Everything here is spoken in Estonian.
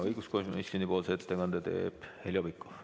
Õiguskomisjoni ettekande teeb Heljo Pikhof.